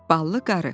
Ballı qarı.